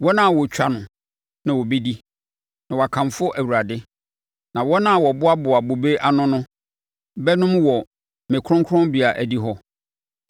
wɔn a wɔtwa no na wɔbɛdi na wɔakamfo Awurade, na wɔn a wɔboaboa bobe ano no bɛnom wɔ me kronkronbea adihɔ.”